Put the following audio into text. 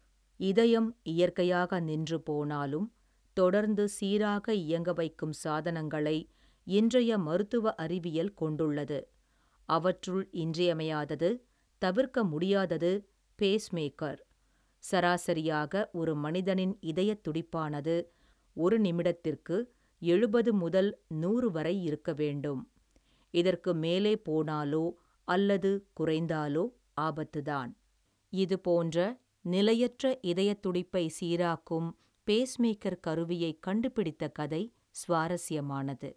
இதயம் இயற்கையாக நின்று போனாலும் தொடர்ந்து சீராக இயங்கவைக்கும் சாதனங்களை இன்றைய மருத்துவ அறிவியல் கொண்டுள்ளது அவற்றுள் இன்றியமையாதது தவிர்க்க முடியாதது பேஸ் மேக்கர் சராசரியாக ஒரு மனிதனின் இதயத் துடிப்பானது ஒரு நிமிடத்துக்கு எழுவது முதல் நூறு வரை இருக்க வேண்டும் இதற்கு மேலே போனாலோ அல்லது குறைந்தாலோ ஆபத்து தான் இது போன்ற நிலையற்ற இதயத்துடிப்பை சீராக்கும் பேஸ்மேக்கர் கருவியைக் கண்டுபிடித்த கதை சுவாரஸியமானது.